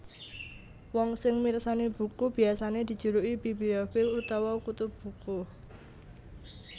Wong sing mirsani buku biasané dijuluki bibliofil utawa kutu buku